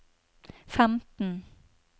femten